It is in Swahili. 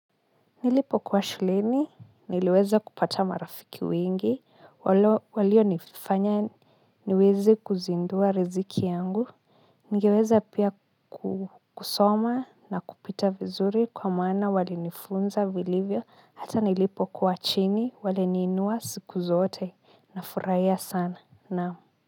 Nilipo kuwa shuleni, niliweza kupata marafiki wengi, waliyo nifanya niweze kuzindua riziki yangu. Ningeweza pia kusoma na kupita vizuri kwa maana walinifunza vilivyo, hata nilipo kuwa chini, wali niinua siku zote na furahia sana. Naamu.